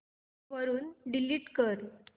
वरून डिलीट कर